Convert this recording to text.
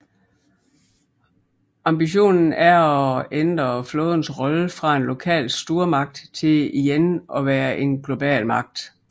Ambitionen er at ændre flådens rolle fra en lokal stormagt til igen at være en global magt